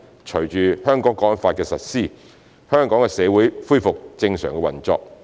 隨着《香港國安法》的實施，香港的社會恢復正常運作。